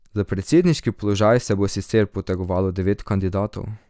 Za predsedniški položaj se bo sicer potegovalo devet kandidatov.